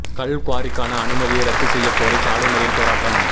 கல் குவாரிக்கான அனுமதியை ரத்து செய்யக் கோரி சாலை மறியல் போராட்டம்